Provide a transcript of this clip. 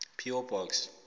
p o box